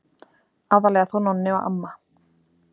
Aðallega þó Nonni og amma.